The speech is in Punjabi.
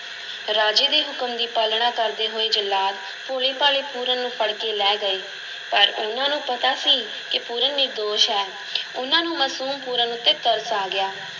ਰਾਜੇ ਦੇ ਹੁਕਮ ਦੀ ਪਾਲਣਾ ਕਰਦੇ ਹੋਏ ਜੱਲਾਦ ਭੋਲੇ-ਭਾਲੇ ਪੂਰਨ ਨੂੰ ਫੜ ਕੇ ਲੈ ਗਏ ਪਰ ਉਹਨਾਂ ਨੂੰ ਪਤਾ ਸੀ ਕਿ ਪੂਰਨ ਨਿਰਦੋਸ਼ ਹੈ ਉਹਨਾਂ ਨੂੰ ਮਸੂਮ ਪੂਰਨ ਉੱਤੇ ਤਰਸ ਆ ਗਿਆ।